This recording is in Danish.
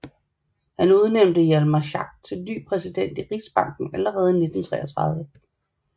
Han udnævnte Hjalmar Schacht til ny præsident i Rigsbanken allerede i 1933